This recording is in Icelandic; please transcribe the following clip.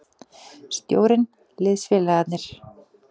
Stjórinn, liðsfélagarnir.